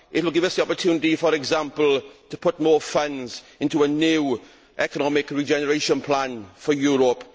It will give us the opportunity, for example, to put more funds into a new economic regeneration plan for Europe.